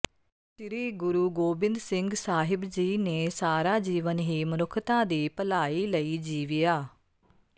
ਸ੍ਰੀ ਗੁਰੂ ਗੋਬਿੰਦ ਸਿੰਘ ਸਾਹਿਬ ਜੀ ਨੇ ਸਾਰਾ ਜੀਵਨ ਹੀ ਮਨੁੱਖਤਾ ਦੀ ਭਲਾਈ ਲਈ ਜੀਵਿਆ